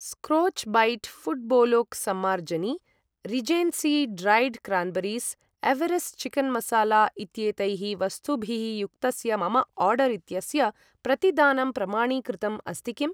स्क्रोच् bat फुट्बोलोक् सम्मार्जनी Regency dried cranberries Everest chicken masala इत्यैतैः वस्तुभिः युक्तस्य मम आर्डर् इत्यस्य प्रतिदानं प्रमाणीकृतम् अस्ति किम्